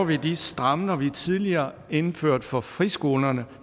vil de stramninger som vi tidligere indførte for friskolerne